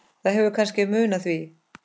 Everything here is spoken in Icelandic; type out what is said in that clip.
Það hefur kannski munað því.